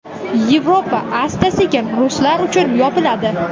Yevropa asta-sekin ruslar uchun yopiladi.